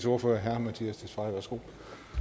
ordfører herre mattias tesfaye værsgo